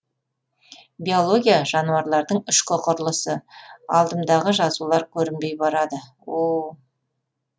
биология жануарлардың ішкі құрылысы алдымдағы жазулар көрінбей барады о